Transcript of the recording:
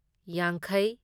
ꯌꯥꯡꯈꯩ